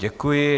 Děkuji.